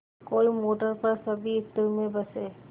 कोई मोटर पर सभी इत्र में बसे